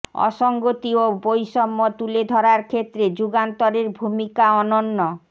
অসঙ্গতি ও বৈষম্য তুলে ধরার ক্ষেত্রে যুগান্তরের ভূমিকা অনন্য